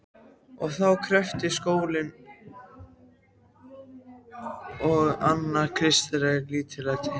Og þá kreppti skóinn að hans kristilega lítillæti.